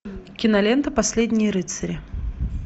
кинолента последние рыцари